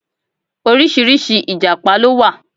Oríṣiríṣi Ìjàpá ló wà.